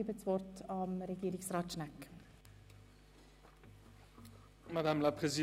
Ich erteile Regierungsrat Schnegg das Wort.